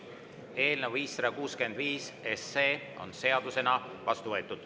Eelnõu 565 on seadusena vastu võetud.